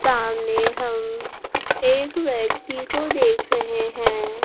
सामने हम एक व्यक्ति को देख रहे हैं।